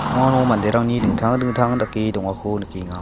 uano manderangni dingtang dingtang dake dongako nikenga.